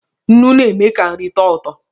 Nnu na-eme ka nri tọọ ụtọ.